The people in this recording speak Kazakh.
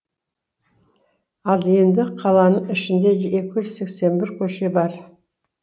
ал енді қаланың ішінде екі жүз сексен бір көше бар